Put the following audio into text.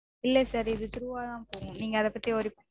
இல்ல sir இது through -வாதா போகும். நீங்க அத பத்தி worry பண்